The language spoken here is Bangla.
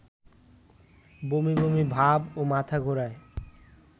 বমিবমি ভাব ও মাথাঘোরার